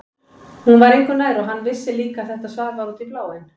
Hún var engu nær og hann vissi líka að þetta svar var út í bláinn.